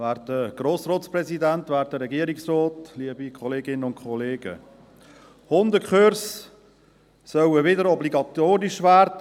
Hundekurse sollen für neue Hundehalterinnen und Hundehalter wieder obligatorisch werden.